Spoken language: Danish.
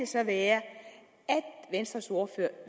så være at venstres ordfører